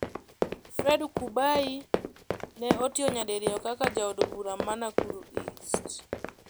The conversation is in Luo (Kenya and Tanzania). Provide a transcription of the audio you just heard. Fred Kubai ne otiyo nyadiriyo kaka Jaod Bura ma Nakuru East.